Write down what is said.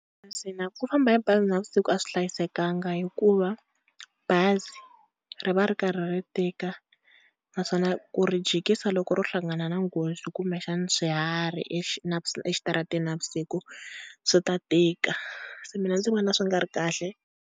Ku famba hi bazi navusiku a swi hlayisekanga hikuva bazi ri va ri karhi ri tika naswona ku ri jikisa loko ro hlangana na nghozi kumbexana swiharhi exitarateni navusiku swi ta tika, se mina ndzi vona swi nga ri kahle.